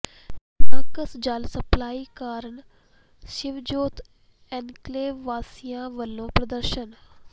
NOx ਜਲ supply ਕਾਰਨ Shivjot Enclave ਵਾਸੀਆਂ ਵੱਲੋਂ ਪ੍ਰਦਰਸ਼ਨ